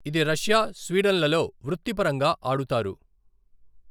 ఇది రష్యా, స్వీడన్లలో వృత్తిపరంగా ఆడుతారు.